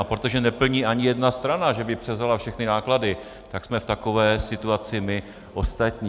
A protože neplní ani jedna strana, že by převzala všechny náklady, tak jsme v takové situaci my ostatní.